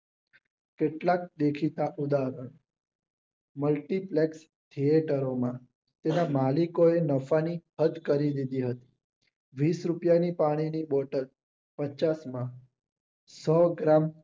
કેટલાક દેખીતા ઉદાહરણો મલ્ટીપ્લસ જે તારોમાં તેના માલિકો એ સ્પષ્ટ કરી હતી વિસ રૂપિયાની પાણીની બોટલ પચાસમાં સો ગ્રામ